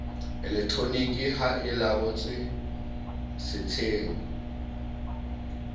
elektroniki ha e laollotswe setsheng